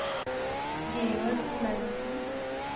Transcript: Georg Olaussen